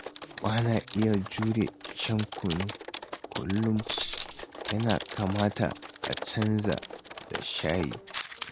Ba na iya jure shan kunu kullum, ya kamata a canza da shayi